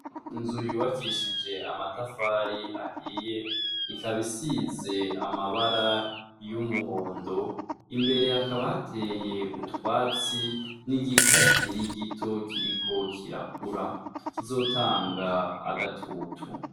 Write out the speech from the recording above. Inzu yubakishije amatafari ahiye, ikaba isize amabara y'umuhondo, imbere hakaba hateye utwatsi n'igiti kikiri gito kiriko kirakura, kizotanga agatutu.